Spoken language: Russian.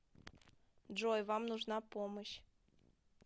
джой вам нужна помощь